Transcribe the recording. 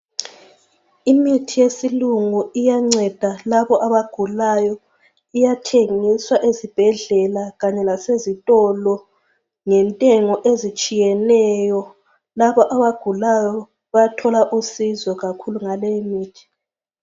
Imithi yesilungu iyanceda labo abagulayo, iyathengiswa ezibhedlela kanye lasezitolo ngentengo ezitshiyeneyo labo abagulayo bayathola usizo kakhulu ngaleyimithi.